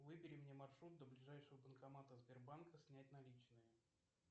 выбери мне маршрут до ближайшего банкомата сбербанка снять наличные